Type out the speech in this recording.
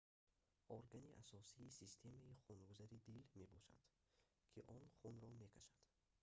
органи асосии системаи хунгузари дил мебошад ки он хунро мекашад